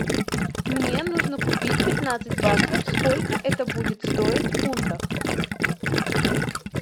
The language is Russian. мне нужно купить пятнадцать баксов сколько это будет стоить в фунтах